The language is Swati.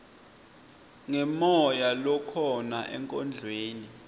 ngemoya lokhona enkondlweni